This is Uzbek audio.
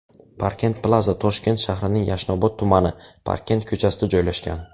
Parkent Plaza Toshkent shahrining Yashnobod tumani, Parkent ko‘chasida joylashgan.